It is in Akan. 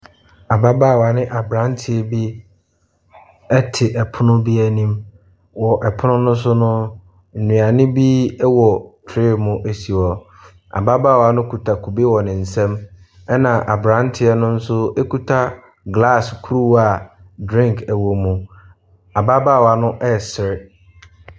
Ababaawa ne aberanteɛ bi te pono bi anim. Wɔ pono ne so no, nnuane bi wɔ tray mu si hɔ. Ababaawa no kita kube wɔ ne nsam na aberanteɛ no nso kita graase kuruwa a drink wɔ mu. Ababaawa no ɛresere.